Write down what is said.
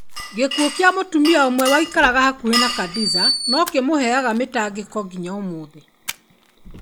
Gĩkuũ kĩa mũtumia ũmwe waikarĩte hakuhĩ na Khadiza no kĩmũheaga mĩtangĩko nginya ũmũthĩ.